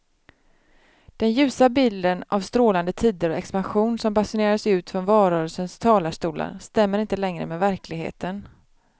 Den ljusa bilden av strålande tider och expansion som basunerades ut från valrörelsens talarstolar stämmer inte längre med verkligheten.